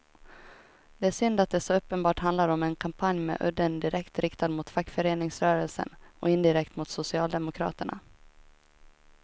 Det är synd att det så uppenbart handlar om en kampanj med udden direkt riktad mot fackföreningsrörelsen och indirekt mot socialdemokraterna.